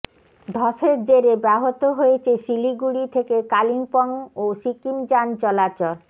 ধসের জেরে ব্যাহত হয়েছে শিলিগুড়ি থেকে কালিম্পং ও সিকিম যান চলাচল